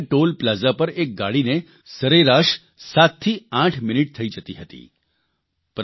પહેલાં આપણે ત્યાં ટોલ પ્લાઝા પર એક ગાડીને સરેરાશ 7 થી 8 મિનીટ થઇ જતી હતી